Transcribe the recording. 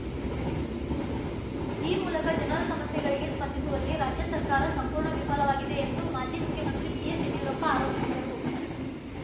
ಈ ಮೂಲಕ ಜನರ ಸಮಸ್ಯೆಗಳಿಗೆ ಸ್ಪಂದಿಸುವಲ್ಲಿ ರಾಜ್ಯ ಸರ್ಕಾರ ಸಂಪೂರ್ಣ ವಿಫಲವಾಗಿದೆ ಎಂದು ಮಾಜಿ ಮುಖ್ಯಮಂತ್ರಿ ಬಿಎಸ್‌ಯಡಿಯೂರಪ್ಪ ಆರೋಪಿಸಿದರು